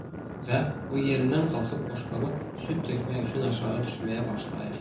Və və o yerindən qalxıb boşqaba süd tökmək üçün aşağı düşməyə başlayır.